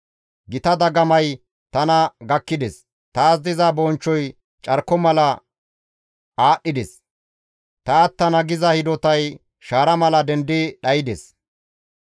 Gita dagamay tana gakkides; taas diza bonchchoy carko mala aadhdhides; ta attana giza hidotay shaara mala dendi dhaydes.